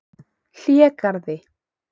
Hlégarði